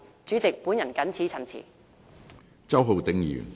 主席，我謹此陳辭。